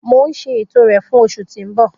Mo n ṣe eto rẹ fun oṣu ti n bọ.